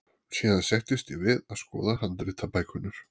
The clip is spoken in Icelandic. Síðan settist ég við að skoða handritabækurnar.